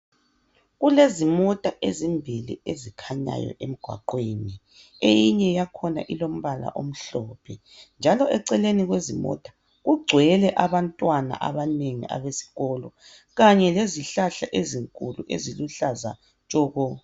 Kulezimota ezimbili ezikhanyayo emgwaqweni. Eyinye yakhona ilombala omhlophe njalo eceleni kwezimota kugcwele abantwana abanengi abesikolo kanye lezihlahla ezinkulu eziluhlaza tshoko.